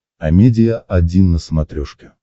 амедиа один на смотрешке